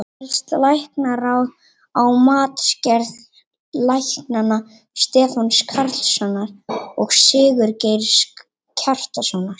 Fellst Læknaráð á matsgerð læknanna Stefáns Carlssonar og Sigurgeirs Kjartanssonar?